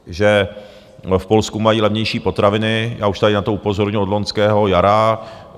Že v Polsku mají levnější potraviny, já už tady na to upozorňuju od loňského jara.